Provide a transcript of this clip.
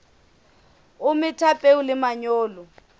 o metha peo le manyolo